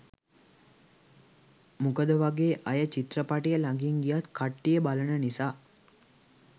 මොකදවගේ අය චිත්‍රපටිය ලඟින් ගියත් කට්ටිය බලන නිසා.